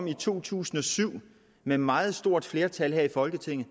i to tusind og syv med meget stort flertal her i folketinget